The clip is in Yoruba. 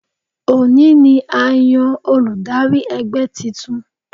Òní ni a yan olùdarí ẹgbẹ́ titun